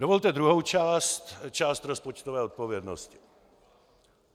Dovolte druhou část, část rozpočtové odpovědnosti.